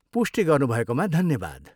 पुष्टि गर्नुभएकोमा धन्यवाद।